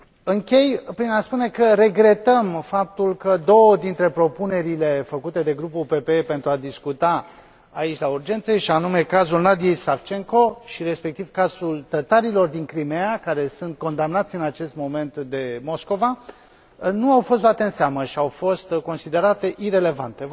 Închei prin a spune că regretăm faptul că două dintre propunerile făcute de grupul PPE pentru a discuta aici la urgențe și anume, cazul Nadiei Savcenko și, respectiv, cazul tătarilor din Crimeea care sunt condamnați în acest moment de Moscova, nu au fost luate în seamă și au fost considerate irelevante.